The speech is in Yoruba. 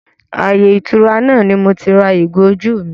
Ààyè ìtura náà ni moti ra ìgò ojú mi